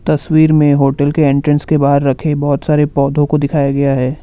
तस्वीर में होटल के एंट्रेंस के बाहर रखे बहुत सारे पौधों को दिखाया गया है।